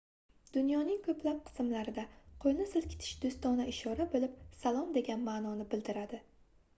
dunyoning koʻplab qismlarida qoʻlni silkitish doʻstona ishora boʻlib salom degan maʼnoni bildiradi